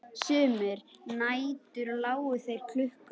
Sumar nætur lágu þeir klukku